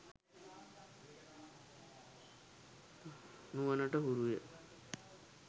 නුවණට හුරුය